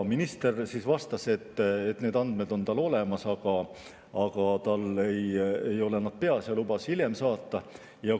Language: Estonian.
Minister vastas, et need andmed on tal olemas, aga tal ei ole need peas, ja lubas hiljem saata.